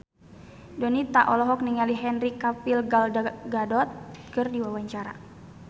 Donita olohok ningali Henry Cavill Gal Gadot keur diwawancara